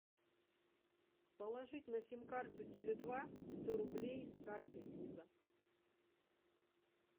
положить на сим карту теле два сто рублей с карты виза